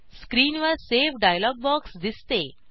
screen वर save dialog box दिसते